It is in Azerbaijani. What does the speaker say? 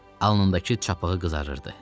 Alnındakı çapığı qızarırdı.